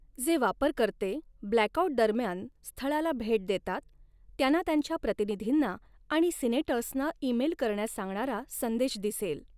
जे वापरकर्ते ब्लॅकआउट दरम्यान स्थळाला भेट देतात त्यांना त्यांच्या प्रतिनिधींना आणि सिनेटर्सना ईमेल करण्यास सांगणारा संदेश दिसेल.